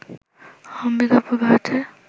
অম্বিকাপুর, ভারতের